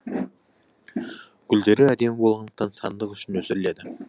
гүлдері әдемі болғандықтан сәндік үшін өсіріледі